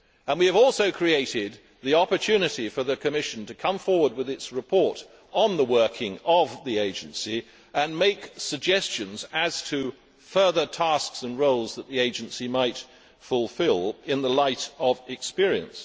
We have also created the opportunity for the Commission to come forward with its report on the working of the Agency and to make suggestions as to further tasks and roles that the Agency might fulfil, in the light of experience.